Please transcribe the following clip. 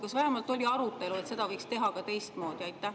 Kas vähemalt oli arutelu, et seda võiks teha ka teistmoodi?